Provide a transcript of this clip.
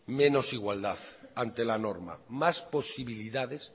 menos igualdad ante la norma más posibilidades